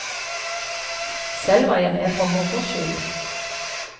Selv var jeg med for moro skyld.